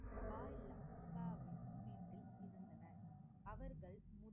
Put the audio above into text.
பாலிய இருந்தனர் அவர்கள்